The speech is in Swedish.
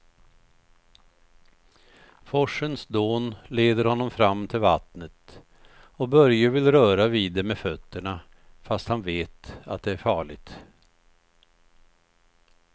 Forsens dån leder honom fram till vattnet och Börje vill röra vid det med fötterna, fast han vet att det är farligt.